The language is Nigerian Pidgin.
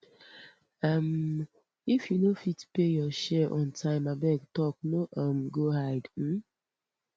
um if you no fit pay your share on time abeg talk no um go hide um